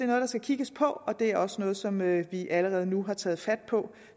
noget der skal kigges på og det er også noget som vi allerede nu har taget fat på